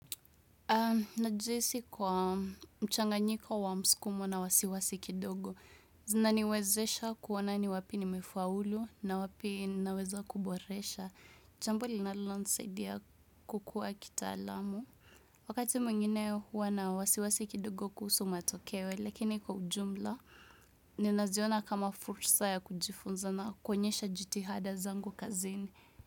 Na jihisi kwa mchanganyika wa msukumo na wasiwasi kidogo. Zinaniwezesha kuona ni wapi nimefaulu na wapi naweza kuboresha. Chambo linalonsaidia kukua kitaalamu Wakati mwngine hua na wasiwasi kidogo kuhusu matokewe, lakini kwa ujumla, ninaziona kama fursa ya kujifunza na kuonyesha jitihada zangu kazini.